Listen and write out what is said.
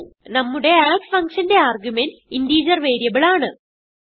നമ്മുടെ add function ന്റെ argument integer variable ആണ്